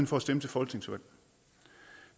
for at stemme til folketingsvalg